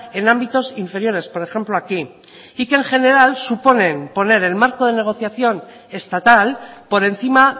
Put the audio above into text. en ámbitos inferiores por ejemplo aquí y que en general suponen poner el marco de negociación estatal por encima